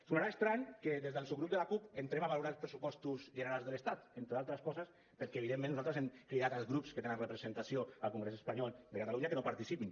sonarà estrany que des del subgrup de la cup entrem a valorar els pressupostos generals de l’estat entre altres coses perquè evidentment nosaltres hem cridat els grups que tenen representació al congrés espanyol de catalunya que no hi participin